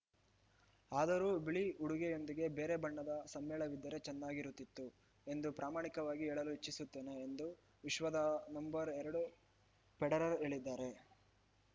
ಆದರೂ ಬಿಳಿ ಉಡುಗೆಯೊಂದಿಗೆ ಬೇರೆ ಬಣ್ಣದ ಸಮ್ಮೇಳವಿದ್ದರೆ ಚೆನ್ನಾಗಿರುತ್ತಿತ್ತು ಎಂದು ಪ್ರಾಮಾಣಿಕವಾಗಿ ಹೇಳಲು ಇಚ್ಛಿಸುತ್ತೇನೆ ಎಂದು ವಿಶ್ವದ ನಂಬರ್ ಎರಡು ಫೆಡರರ್‌ ಹೇಳಿದ್ದಾರೆ